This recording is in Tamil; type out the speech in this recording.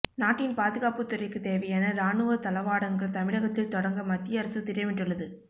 நாட்டின் பாதுகாப்புத் துறைக்குத் தேவையான ராணுவ தளவாடங்கள் தமிழகத்தில் தொடங்க மத்திய அரசு திட்டமிட்டுள்ளது